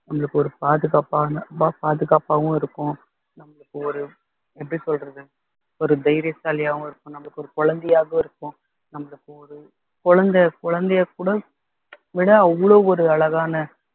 நம்மளுக்கு ஒரு பாதுகாப்பான அன்பா பாதுகாப்பாவும் இருக்கும் நம்மளுக்கு ஒரு எப்படி சொல்றது ஒரு தைரியசாலியாவும் இருக்கும் நமக்கு ஒரு குழந்தையாகவும் இருக்கும் நம்மளுக்கு ஒரு குழந்தை குழந்தைய கூட விட அவ்வளவு ஒரு அழகான